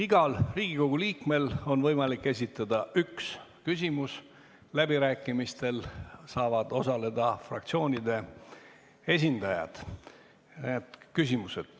Igal Riigikogu liikmel on võimalik esitada üks küsimus, läbirääkimistel saavad osaleda fraktsioonide esindajad.